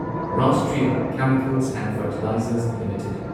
Rashtriya Chemicals and Fertilizers limited